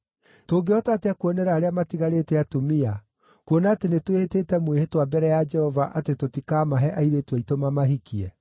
Tũngĩhota atĩa kuonera arĩa matigarĩte atumia, kuona atĩ nĩtwĩhĩtĩte mwĩhĩtwa mbere ya Jehova atĩ tũtikaamahe airĩtu aitũ mamahikie?”